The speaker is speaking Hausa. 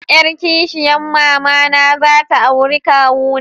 Yar kishiyan mama na za ta auri kawuna.